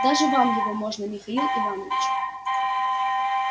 даже вам его можно михаил иванович